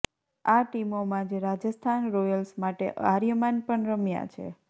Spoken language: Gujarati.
આ ટિમો માં જ રાજસ્થાન રોયલ્સ માટે આર્યમાન પણ રમ્યા છે